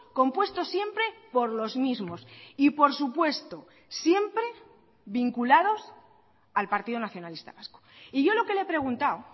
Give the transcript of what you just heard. compuestos siempre por los mismos y por supuesto siempre vinculados al partido nacionalista vasco y yo lo que le he preguntado